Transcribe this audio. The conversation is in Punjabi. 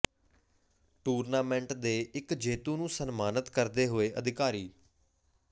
ਟੂਰਨਾਮੈਂਟ ਦੇ ਇਕ ਜੇਤੂ ਨੂੰ ਸਨਮਾਨਤ ਕਰਦੇ ਹੋਏ ਅਧਿਕਾਰੀ